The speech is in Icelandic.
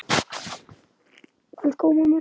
Elsku Ómar minn.